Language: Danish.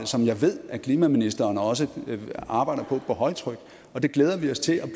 som jeg ved at klimaministeren også arbejder på på højtryk det glæder vi os til at